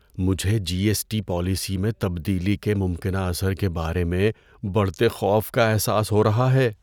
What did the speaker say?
مجھے G S T policy میں تبدیلی کے ممکنہ اثر کے بارے میں بڑھتے خوف کا احساس ہو رہا ہے۔